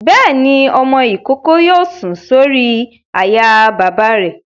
Bẹ́ẹ̀ni, ọmọ-ìkókó yóò sùn sórí àyà bàbá rẹ̀